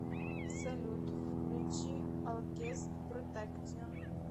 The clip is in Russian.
салют включи алкест протектион